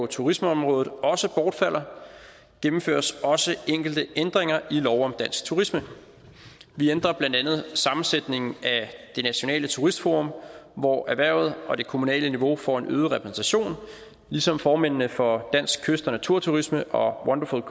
turismeområdet også bortfalder gennemføres også enkelte ændringer i lov om dansk turisme vi ændrer blandt andet sammensætningen af det nationale turismeforum hvor erhvervet og det kommunale niveau får en øget repræsentation ligesom formændene for dansk kyst og naturturisme og wonderful